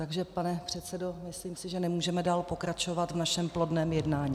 Takže pane předsedo, myslím si, že nemůžeme dál pokračovat v našem plodném jednání.